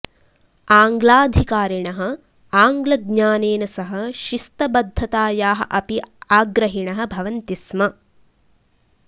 आङ्ग्लाधिकारिणः आङ्ग्लज्ञानेन सह शिस्तबद्धतायाः अपि आग्रहिणः भवन्ति स्म